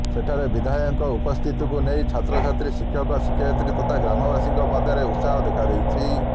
ସେଠାରେ ବିଧାୟକଙ୍କ ଉପସ୍ଥିତିକୁ ନେଇ ଛାତ୍ରଛାତ୍ରୀ ଶିକ୍ଷକ ଶିକ୍ଷୟିତ୍ରୀ ତଥା ଗ୍ରାମବାସୀଙ୍କ ମଧ୍ୟରେ ଉତ୍ସାହ ଦେଖା ଦେଇଛି